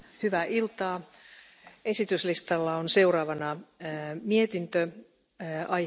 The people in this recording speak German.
Frau Präsidentin, Herr Kommissar und die leider nicht vorhandene Ratspräsidentschaft, liebe Kolleginnen und Kollegen!